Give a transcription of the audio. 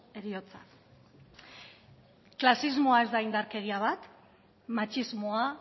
heriotza klasismoa ez da indarkeria bat matxismoa